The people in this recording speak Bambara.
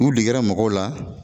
U degera mɔgɔw la